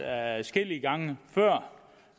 adskillige gange før